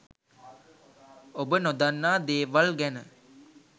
ඔබ නොදන්නා දේවල් ගැන